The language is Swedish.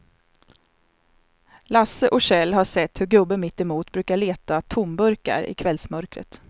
Lasse och Kjell har sett hur gubben mittemot brukar leta tomburkar i kvällsmörkret.